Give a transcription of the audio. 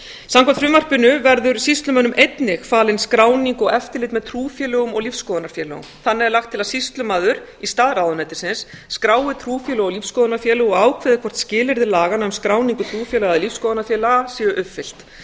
samkvæmt frumvarpinu verður sýslumönnum einnig falin skráning og eftirlit með trúfélögum og lífsskoðunarfélögum þannig er lagt til að sýslumaður í stað ráðuneytisins skrái trúfélög og lífsskoðunarfélög og ákveði hvort skilyrði laganna um skráningu trúfélaga eða lífsskoðunarfélaga séu upplýst